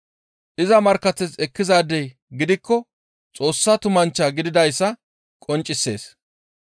Iza markkateth ekkizaadey gidikko Xoossa tumanchcha gididayssa qonccisees.